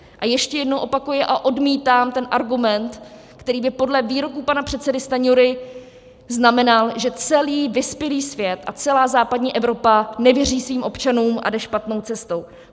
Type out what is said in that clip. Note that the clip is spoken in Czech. A ještě jednou opakuji, a odmítám ten argument, který by podle výroku pana předsedy Stanjury znamenal, že celý vyspělý svět a celá západní Evropa nevěří svým občanům a jde špatnou cestou.